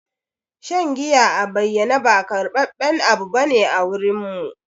Shan giya a bayane ba karbaben abu bane a wurin mu.